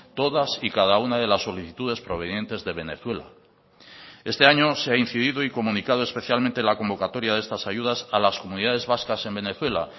todas y cada una de las solicitudes provenientes de venezuela este año se ha incidido y comunicado especialmente la convocatoria de estas ayudas a las comunidades vascas en venezuela